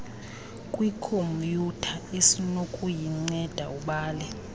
kwikhomyutha esinokukunceda ubale